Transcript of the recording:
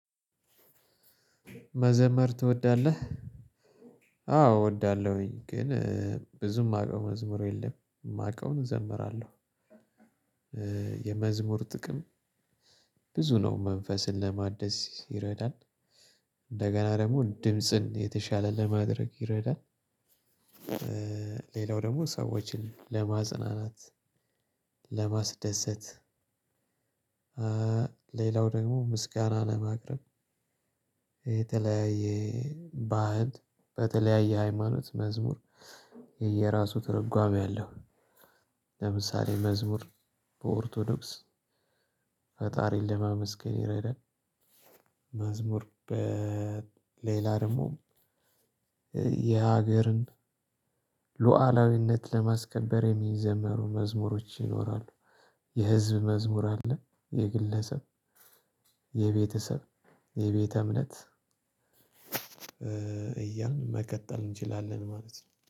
መዘመር ትወዳለህ? አዎ እወዳለሁኝ ግን ብዙም የማውቀው መዝሙር የለም የማውቀውን እዘምራለሁ። የመዝሙር ጥቅም ብዙ ነው መንፈስን ለማደስ ይረዳል። እንደገና ደግሞ ድምጽን የተሻለ ለማድረግ ይረዳል። ሌላው ደግሞ ሰዎችን ለማጽናናት ለማስደሰት። ሌላው ደግሞ ምስጋና ለማቅረብ። የተለያየ ባህል በተለያየ ሃይማኖት መዝሙር የየራሱ ትርጓሜ አለው። ለምሳሌ መዝሙር በኦርቶዶክስ ፈጣሪን ለማመስገን ይረዳል። መዝሙር በሌላ ደግሞ የሀገርን ሉዓላዊነት ለማስከበር የሚዘመሩ መዝሙሮች ይኖራሉ። የህዝብ መዝሙር አለ የግለሰብ የቤተሰብ የቤተ እምነት። እያልን መቀጠል እንችላለን ማለት ነው